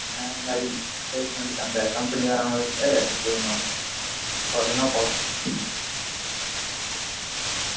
ஆ அந்த மாதிரி placement க்கு அந்த company வரவங்கட்ட இது பன்னுவாங்க, பொரதுனா போலாம்.